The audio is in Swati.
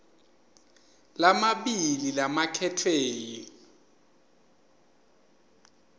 lamabili labakhetfwe yi